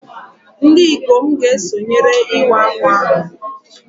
Ndị ikom ga-esonyere Iwa Akwa ahụ